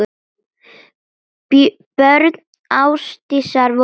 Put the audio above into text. Börn Ásdísar voru sjö.